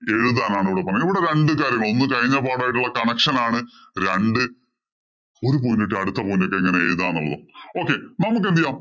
എഴുതാനാണ് ഇവിടെ ഇവിടെ പറഞ്ഞിട്ടുള്ളത്. ഒരു കഴിഞ്ഞ പാഠം ആയിട്ടുള്ള connection ആണ്. രണ്ടു ഒരു point ഇട്ടു അടുത്ത point ഇട്ടു എങ്ങനെ എഴുതാം എന്നുള്ളത്.